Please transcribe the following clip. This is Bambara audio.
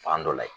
Fan dɔ la yen